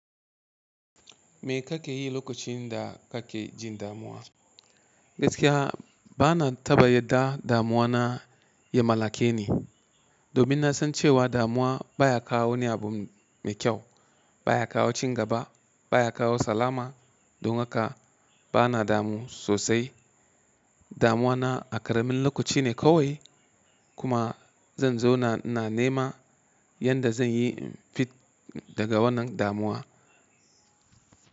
Me kake yi lokacin da kake jin damuwa? Gaskiya bana ta yadda damuwa na ya mallake ni. Domin na san cewa damuwa baya kawo ni abu mai kyau, baya kawo cin gaba, baya kawo salama. Don haka bana damu sosai. Damuwa na a karamin lokaci ne kawai kuma zan zona nema yadda zan yi fita daga wannan damuwa.